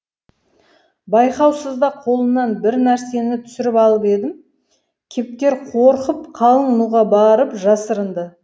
байқаусызда қолымнан бір нәрсені түсіріп алып едім кептер қорқып қалың нуға барып жасырынды